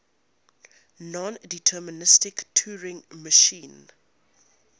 nondeterministic turing machine